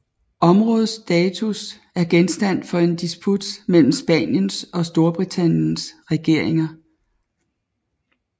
Områdets status er genstand for en disput mellem Spaniens og Storbritanniens regeringer